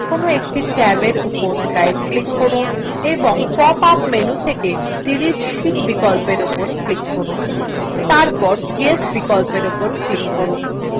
এবার যেকোনো একটি ট্যাবএর উপর right click করুন এবং pop up menu থেকে delete sheet বিকল্প উপর click করুন তারপর yes বিকল্প উপর click করুন